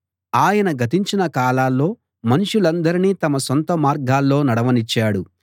ఆయన గతించిన కాలాల్లో మనుషులందరినీ తమ సొంత మార్గాల్లో నడవనిచ్చాడు